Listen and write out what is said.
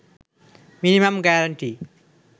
minimum guarantee